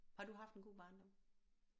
Har du haft en god barndom